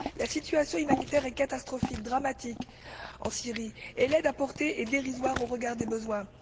La situation humanitaire est catastrophique et dramatique en Syrie et l'aide apportée est dérisoire, au regard des besoins.